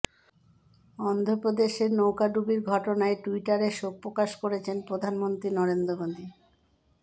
অন্ধ্রপ্রদেশের নৌকাডুবির ঘটনায় ট্যুইটারে শোকপ্রকাশ করেছেন প্রধানমন্ত্রী নরেন্দ্র মোদি